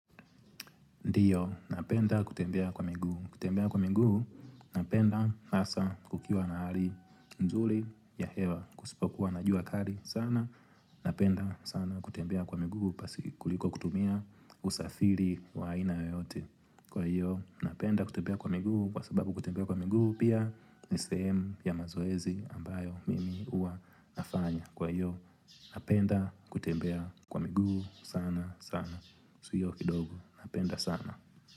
Ndio, napenda kutembea kwa miguu. Kutembea kwa miguu, napenda hasa kukiwa na hali nzuri ya hewa. Kusipokuwa na jua kali sana. Napenda sana kutembea kwa miguu, basi kuliko kutumia usafiri wa aina yeyote. Kwa hiyo, napenda kutembea kwa miguu, kwa sababu kutembea kwa miguu, pia ni sehemu ya mazoezi ambayo mimi huwa nafanya. Kwa hiyo, napenda kutembea kwa miguu sana sana. Sio kidogo napenda sana.